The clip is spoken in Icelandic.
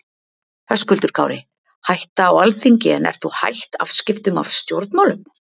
Höskuldur Kári: Hætta á Alþingi en ert þú hætt afskiptum af stjórnmálum?